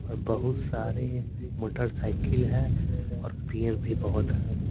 और बहुत सारे मोटरसाइकिल है और पेयर भी बहुत है।